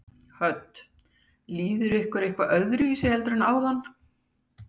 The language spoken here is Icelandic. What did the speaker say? Hödd: Líður ykkur eitthvað öðruvísi heldur en áðan?